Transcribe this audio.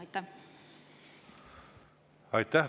Aitäh!